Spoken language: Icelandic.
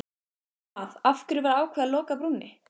Hvað, af hverju var ákveðið að loka brúnni?